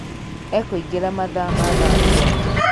Ekũingĩra mathaa ma thaa mũgwanja